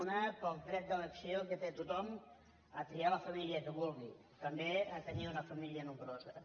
un pel dret d’elecció que té tothom a triar la família que vulgui també a tenir una família nombrosa